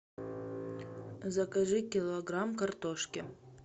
закажи килограмм картошки